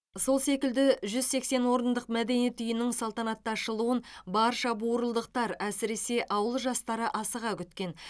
сол секілді жүз сексен орындық мәдениет үйінің салтанатты ашылуын барша бурылдықтар әсіресе ауыл жастары асыға күткен